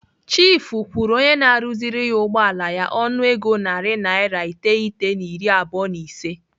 Chiifu kwụrụ onye na-arụziri ya ụgbọala ya ọnụego narị naira iteghete na iri abụọ na ise.